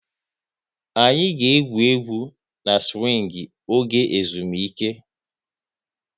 Anyị ga egwú egwu na-siwing oge ezumike